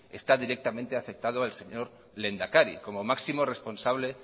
está directamente afectado el señor lehendakari como máximo responsable